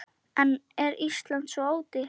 En er Ísland svo ódýrt?